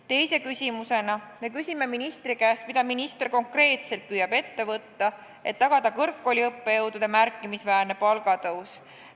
Teise küsimusena me küsime ministri käest, mida minister konkreetselt püüab ette võtta, et tagada kõrgkooliõppejõudude palga märkimisväärne tõus.